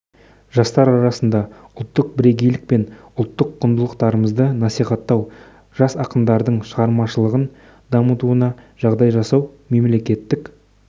жастар арасында ұлттық бірегейлік пен ұлттық құндылықтарымызды насихаттау жас ақындардың шығармашылығын дамытуына жағдай жасау мемлекеттік